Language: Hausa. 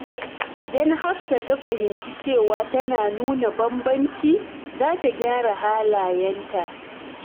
Idan Hafsat ta fahimci cewa tana nuna bambanci, za ta gyara halayenta.